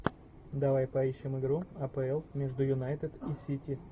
давай поищем игру апл между юнайтед и сити